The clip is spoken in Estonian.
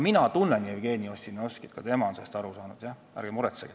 Ärge muretsege, ka tema on sellest aru saanud.